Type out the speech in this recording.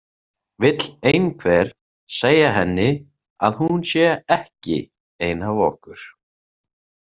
Vill einhver segja henni að hún sé ekki ein af okkur.